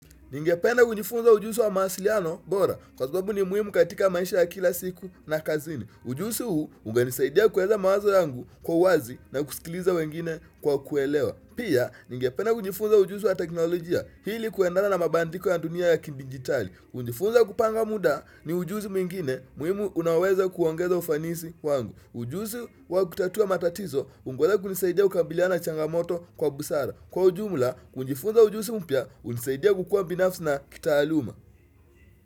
Ningependa kunjifunza ujuzi wa mawasiliano bora, kwa sababu ni muhimu katika maisha ya kila siku na kazini. Ujuzi huu, ungenisaidia kuweka mawazo yangu kwa uwazi na kusikiliza wengine kwa kuelewa. Pia, ningependa kujifunza ujuzi wa teknolojia, ili kuendana na mabandiko ya dunia ya kidijitali. Kujifunza kupanga muda, ni ujuzi mwingine, muhimu unaoweza kuongeza ufanisi wangu. Ujuzi wa kutatua matatizo, hungoja kunisaidia kukabiliana na changamoto kwa busara. Kwa ujumla, kujifunza ujuzi mpya, hunisaidia kukua binafsi na kitaaluma.